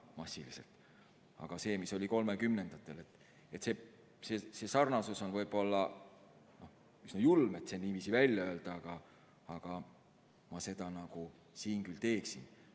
Aga sarnasus sellega, mis oli 1930-ndatel – võib-olla on üsna julm see niiviisi välja öelda, aga seda ma siinkohal küll teeksin.